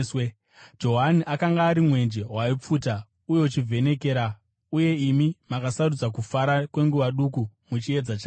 Johani akanga ari mwenje waipfuta uye uchivhenekera, uye imi makasarudza kufara kwenguva duku muchiedza chake.